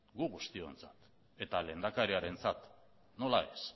gu guztiontzat eta lehendakariarentzat nola ez